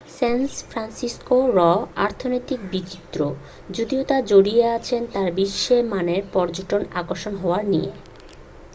স্যান ফ্রান্সিসকো'র অর্থনীতি বিচিত্র যদিও তা জড়িয়ে আছে তার বিশ্ব-মানের পর্যটন আকর্ষণ হওয়া নিয়ে